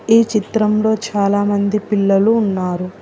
ఈ చిత్రంలో చాలా మంది పిల్లలు ఉన్నారు.